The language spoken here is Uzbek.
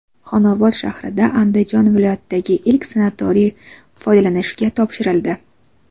Xonobod shahrida Andijon viloyatidagi ilk sanatoriy foydalanishga topshirildi.